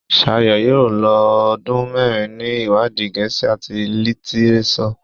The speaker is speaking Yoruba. Shayo yóò ló ọdún mérin ní iwadi Gèésì at litireso.